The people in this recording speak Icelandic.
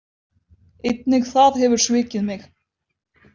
Einnig það hefur svikið mig.